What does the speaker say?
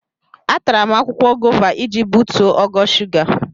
Atara m akwụkwọ gova iji butuo ogo shuga.